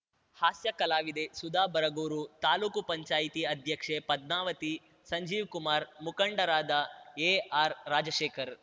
ಹಾಸ್ಯ ಕಲಾವಿದೆ ಸುಧಾ ಬರಗೂರು ತಾಲೂಕು ಪಂಚಾಯಿತಿ ಅಧ್ಯಕ್ಷೆ ಪದ್ಮಾವತಿ ಸಂಜೀವ್‌ಕುಮಾರ್‌ ಮುಖಂಡರಾದ ಎಆರ್‌ ರಾಜಶೇಖರ್‌